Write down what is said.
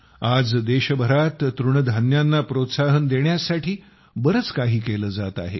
आज देशभरात तृणधान्यांना प्रोत्साहन देण्यासाठी बरेच काही केले जात आहे